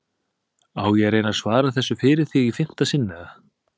Á ég að reyna að svara þessu fyrir þig í fimmta sinn eða?